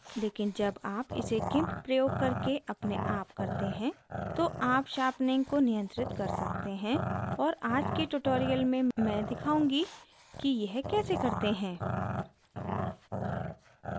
लेकिन जब आप इसे gimp प्रयोग करके अपने आप करते हैं तो आप sharpening को नियंत्रित कर सकते हैं और आज के tutorial में मैं दिखाऊंगी कि यह कैसे करते हैं